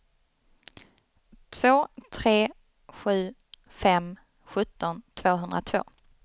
två tre sju fem sjutton tvåhundratvå